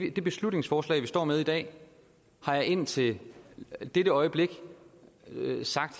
i det beslutningsforslag vi står med i dag har jeg indtil dette øjeblik